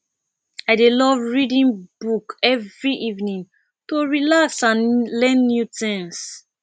i dey love reading book every evening to relax and learn new things